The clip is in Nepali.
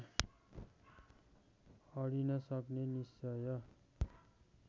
अडिनसक्ने निश्चय